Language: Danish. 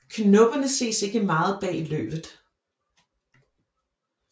Knopperne ses ikke meget bag løvet